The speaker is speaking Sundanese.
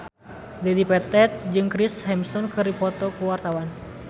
Dedi Petet jeung Chris Hemsworth keur dipoto ku wartawan